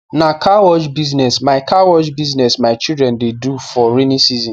na car wash business my wash business my children the do for raining season